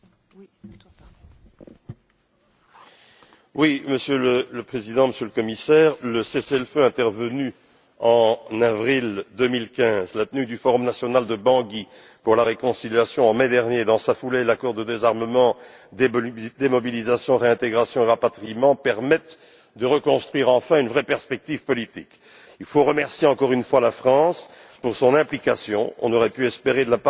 Monsieur le Président, Monsieur le Commissaire, le cessez le feu intervenu en avril 2015, la tenue du Forum national de Bangui pour la réconciliation en mai dernier dans sa foulée, l'accord de désarmement, de démobilisation, de réintégration, et de rapatriement permettent de reconstruire enfin une vraie perspective politique. Il faut remercier encore une fois la France pour son implication, on aurait pu espérer, de la part des pays européens, un peu plus de solidarité et d'engagement.